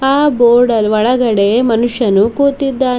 ಆ ಗೋಡಲ್ ಒಳಗಡೆ ಮನುಷ್ಯನು ಕೂತಿದ್ದಾನ್--